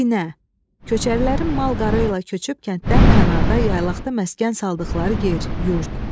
Binə, köçərilərin mal qarı ilə köçüb kənddən kənarda yaylaqda məskən saldıqları yer, yurd.